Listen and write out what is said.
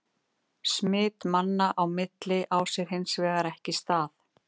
Smit manna á milli á sér hins vegar ekki stað.